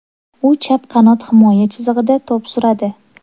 U chap qanot himoya chizig‘ida to‘p suradi.